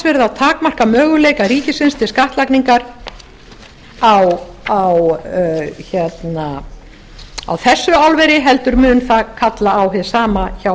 verið að takmarka möguleika ríkisins til skattlagningar á þessu álveri heldur mun það kalla á hið sama hjá